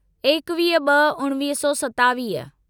एकवीह ब॒ उणिवीह सौ सतावीह